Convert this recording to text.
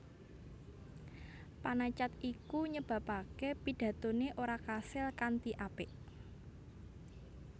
Panacad iku nyebabaké pidatoné ora kasil kanthi apik